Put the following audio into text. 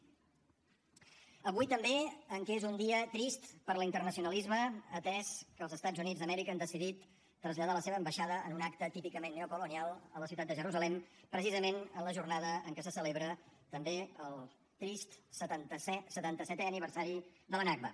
avui també que és un dia trist per l’internacionalisme atès que els estats units d’amèrica han decidit traslladar la seva ambaixada en un acte típicament neocolonial a la ciutat de jerusalem precisament en la jornada en què se celebra també el trist setanta setè aniversari de la nakba